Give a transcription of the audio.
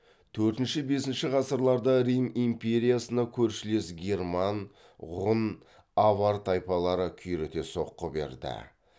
төртінші бесінші ғасырларда рим империясына көршілес герман ғұн авар тайпалары күйрете соққы берді